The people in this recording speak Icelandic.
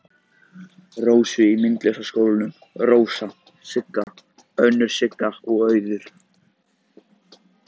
Rósu í Myndlistaskólanum, Rósa, Sigga, önnur Sigga og Auður.